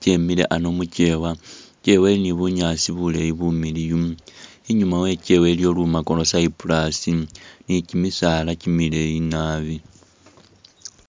kyemile ano mukyewa. Ikyeewa ni bunyaasi bumiliyu. Inyuma we ikyeewa iliyo lumako lwa Cyprus ni kimisaala kimileeyi nabi.